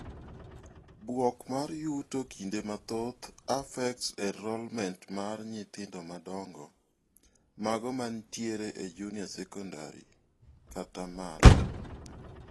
Bwok mar yuto kinde mathoth affects enrollment mar nyithindo madongo -mago manitiere e junior secondary kata malo.